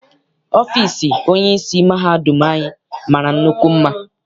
Ọfịịsi onyeisi mahadum anyị mara nnukwu mma.